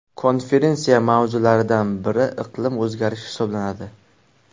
Konferensiya mavzulariodan biri iqlim o‘zgarishi hisoblanadi.